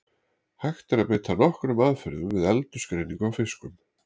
Hægt er að beita nokkrum aðferðum við aldursgreiningu á fiskum.